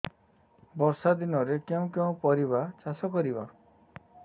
ବର୍ଷା ଦିନରେ କେଉଁ କେଉଁ ପରିବା ଚାଷ କରିବା